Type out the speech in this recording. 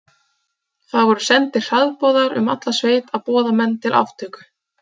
Það voru sendir hraðboðar um alla sveit að boða menn til aftöku.